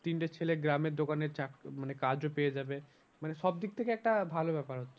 তিনটে ছেলে গ্রামের দোকানে মানে কাজও পেয়ে যাবে। মানে সব দিক থেকে একটা ভালো ব্যাপার হচ্ছে।